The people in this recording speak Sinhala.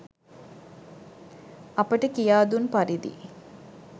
අපට කියා දුන් පරිදි